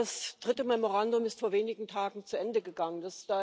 Ja, das dritte Memorandum ist vor wenigen Tagen zu Ende gegangen.